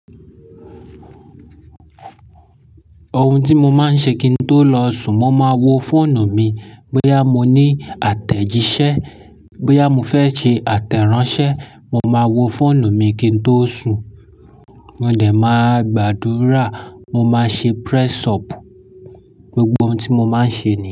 Ohun tí mo máa ń ṣe kí n tó lọ sùn, mo máa wo fóònù mi bóyá mo ní àtẹ̀jíṣẹ́, bóyá mo fẹ́ ṣe àtẹ̀ránṣẹ́, mo máa wo fóònù mi kí n tó sùn. Mo dẹ̀ máa gbàdúrà, mo máa ṣe press-up. Gbogbo ohun tí mo máa ń ṣe ni.